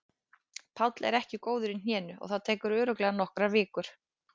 Páll er ekki góður í hnénu og það tekur örugglega nokkrar vikur.